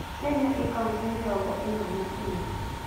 Kenya ĩĩ kauntĩ mĩrongo ĩna na inya.